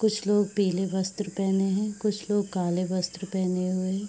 कुछ लोग पीले वस्त्र पहने हैं। कुछ लोग काले वस्त्र पहने हुए हैं।